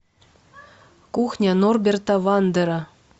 кухня норберта вандера